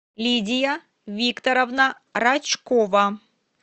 лидия викторовна рачкова